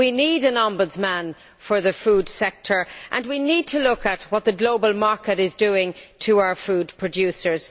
We need an ombudsman for the food sector and we need to look at what the global market is doing to our food producers.